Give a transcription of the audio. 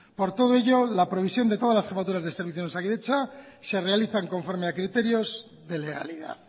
por todo ello la previsión de todas las jefaturas de servicio en osakidetza se realizan conforme a criterios de legalidad